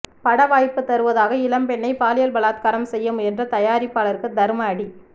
படவாய்ப்பு தருவதாக இளம்பெண்ணை பாலியல் பலாத்காரம் செய்ய முயன்ற தயாரிப்பாளருக்கு தர்ம அடி